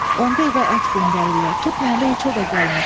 Onda evə ət göndərirlər, tutmayanda heç o da gəlmir.